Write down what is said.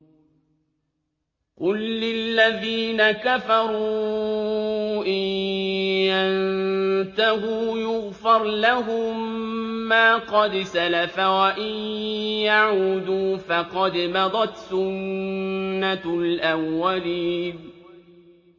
قُل لِّلَّذِينَ كَفَرُوا إِن يَنتَهُوا يُغْفَرْ لَهُم مَّا قَدْ سَلَفَ وَإِن يَعُودُوا فَقَدْ مَضَتْ سُنَّتُ الْأَوَّلِينَ